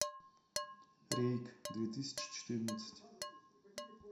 рейк две тысячи четырнадцать